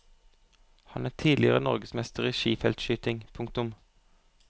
Han er tidligere norgesmester i skifeltskyting. punktum